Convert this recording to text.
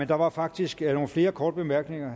der var faktisk nogle flere korte bemærkninger